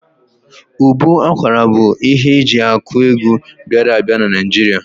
Ụbọ akwara bụ ihe eji akụ egwu bịara a bịa n'Naijiria